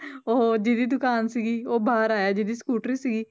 ਉਹ ਜਿਹਦੀ ਦੁਕਾਨ ਸੀਗੀ, ਉਹ ਬਾਹਰ ਆਇਆ ਜਿਹਦੀ ਸਕੂਟਰੀ ਸੀਗੀ